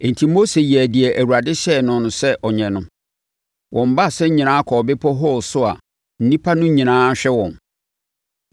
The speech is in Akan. Enti, Mose yɛɛ deɛ Awurade hyɛɛ no sɛ ɔnyɛ no. Wɔn baasa nyinaa kɔɔ bepɔ Hor so a nnipa no nyinaa hwɛ wɔn.